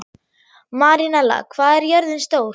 Marinella, hvað er jörðin stór?